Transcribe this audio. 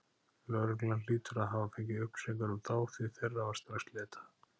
Lögreglan hlýtur að hafa fengið upplýsingar um þá, því þeirra var strax leitað.